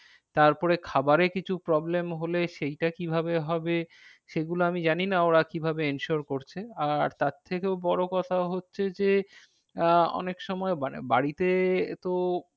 তারপরে খাবারে কিছু problem হলে সেইটা কি ভাবে হবে? সেগুলো আমি জানি না ওরা কি ভাবে ensure করছে। আর তার থেকেও বড়ো কথা হচ্ছে যে আহ অনেক সময় মানে বাড়িতে তো